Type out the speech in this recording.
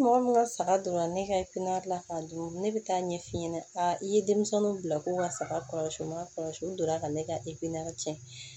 Mɔgɔ min ka saga donna ne ka la ka don ne bɛ taa ɲɛf'i ɲɛna a ye denmisɛnninw bila ko ka saga kɔlɔsi u ma kɔlɔsi u donna ka ne ka tiɲɛ